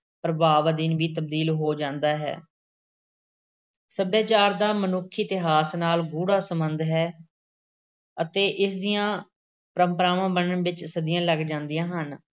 ਪ੍ਰਭਾਵ ਅਧੀਨ ਵੀ ਤਬਦੀਲ ਹੋ ਜਾਂਦਾ ਹੈ। ਸੱਭਿਆਚਾਰ ਦਾ ਮਨੁੱਖੀ ਇਤਿਹਾਸ ਨਾਲ ਗੂੜਾ ਸੰਬੰਧ ਹੈ ਅਤੇ ਇਸ ਦੀਆਂ ਪਰੰਪਰਾਵਾਂ ਬਣਨ ਵਿੱਚ ਸਦੀਆਂ ਲੱਗ ਜਾਂਦੀਆਂ ਹਨ।